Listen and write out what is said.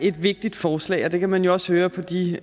et vigtigt forslag og det kan man jo også høre på de